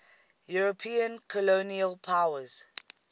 european colonial powers